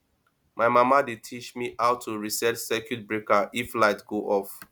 my mama dey teach me how to reset circuit breakers if light go off